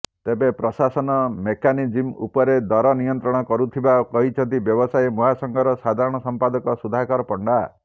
ତେବେ ପ୍ରଶାସନ ମେକାନିଜିମ୍ ଉପରେ ଦର ନିୟନ୍ତ୍ରଣ କରୁଥିବା କହିଛନ୍ତି ବ୍ୟବସାୟୀ ମହାସଂଘର ସାଧାରଣ ସଂପାଦକ ସୁଧାକର ପଣ୍ଡା